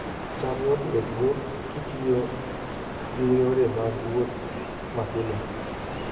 cham yot wuothgo kitiyo gi yore mag wuoth mapile